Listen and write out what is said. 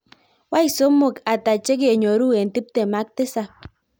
Wany somok ata chegenyoru en tiptem ak tisab